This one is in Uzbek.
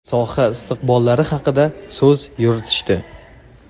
soha istiqbollari haqida so‘z yuritishdi.